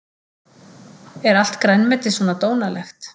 Er allt grænmeti svona dónalegt?